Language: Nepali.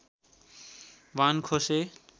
बाण खोसे